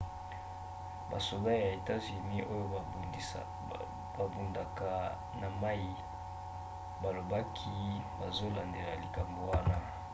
basoda ya etats-unis oyo babundaka na mai balobaki bazolandela likambo wana